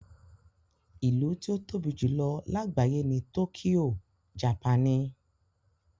Ìlú tí ó tóbi jù lọ lágbàyé ni tókíyò, japaní.